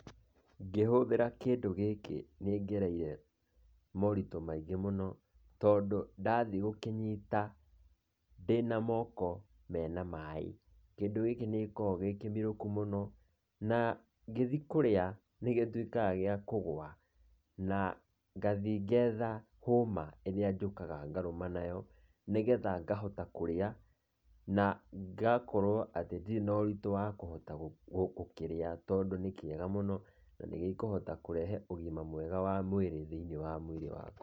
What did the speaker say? Ngĩhũthĩra kĩndũ gĩkĩ nĩ ngereire moritũ maingĩ mũno, tondũ ndathiĩ gũkĩnyita ndĩna moko mena maĩ, kĩndũ gĩkĩ nĩgĩkoragwo gĩ kĩmirũku mũno, na ngĩthiĩ kũrĩa, nĩgĩtuĩkaga gĩa kũgwa, na ngathiĩ ngetha hũma ĩrĩa njũkaga ngarũma nayo, nĩgetha ngahota kũrĩa na ngakorwo atĩ ndirĩ na ũritũ wa kũhota gũkĩrĩa tondũ nĩ kĩega mũno, na nĩgĩkũhota kũrehe ũgima mwega wa mwĩrĩ thĩiniĩ wa mwĩrĩ wakwa.